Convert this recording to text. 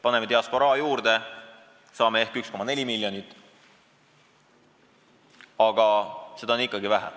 Paneme diasporaa juurde, saame ehk 1,4 miljonit, aga seda on ikkagi vähe.